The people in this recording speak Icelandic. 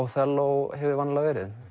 Óþelló hefur vanalega verið